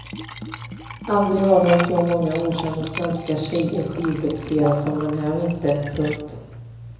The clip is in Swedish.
Aldrig har väl så många okända svenska tjejer skivdebuterat som den här vintern. punkt